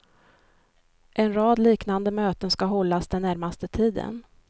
En rad liknande möten ska hållas den närmaste tiden.